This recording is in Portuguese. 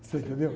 Você entendeu?